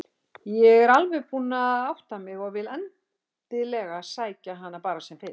Ég er alveg búin að átta mig og vil endilega sækja hana bara sem fyrst.